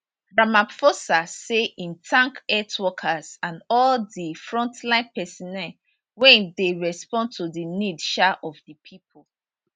ramaphosa say im thank health workers and all di frontline personnel wey dey respond to di need um of di pipo